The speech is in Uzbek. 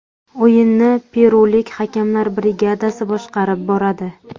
O‘yinni perulik hakamlar brigadasi boshqarib boradi .